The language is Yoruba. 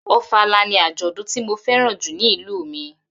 Ofala ni àjọ̀dún tí mo fẹ́ràn jù ní ìlú mi.